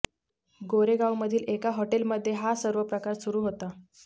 गोरेगावमधील एका हॉटेलमध्ये हा सर्व प्रकार सुरु होता